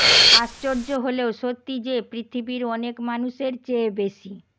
আশ্চর্য হলেও সত্যি যে পৃথিবীর অনেক মানুষের চেয়ে বেশি